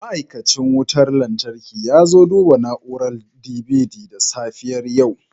Ma'aikacin wutar lantarki ya zo duba na'urar DVD da safiyar yau